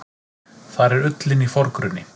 Þar er ullin í forgrunni.